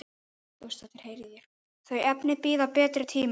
Þau efni bíða betri tíma.